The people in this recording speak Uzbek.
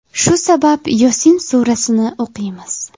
Shu sabab Yosin surasini o‘qiymiz.